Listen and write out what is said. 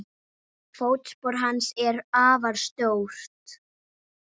Fótspor hans er afar stórt.